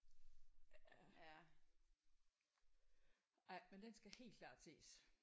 Ja ej men den skal helt klart ses